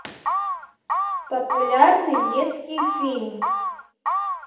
популярный детский фильм